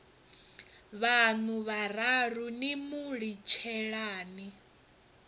vhaṋu vhararu ni mu litshelani